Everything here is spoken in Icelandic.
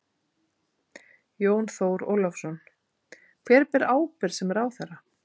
Jón Þór Ólafsson: Hver ber ábyrgð sem ráðherra?